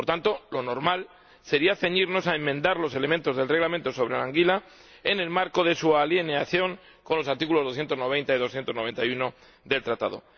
Por tanto, lo normal sería ceñirnos a enmendar los elementos del Reglamento sobre la anguila en el marco de su alineación con los artículos 290 y 291 del Tratado.